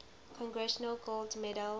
congressional gold medal